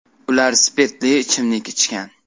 Ular spirtli ichimlik ichgan.